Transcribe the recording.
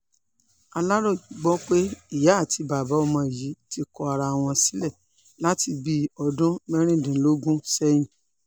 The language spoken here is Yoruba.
aláròye gbọ́ pé ìyá àti bàbá ọmọ yìí ti kọ ara wọn sílẹ̀ láti bíi ọdún mẹ́rìndínlógún sẹ́yìn